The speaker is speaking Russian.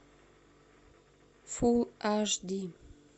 фулл аш ди